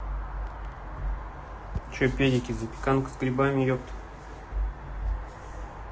что педики запеканка с грибами епта